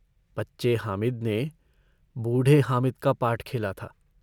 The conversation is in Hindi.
बच्चे हामिद ने बूढ़े हामिद का पार्ट खेला था।